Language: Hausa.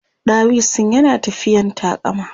ɗawisun yana tafiyan taƙama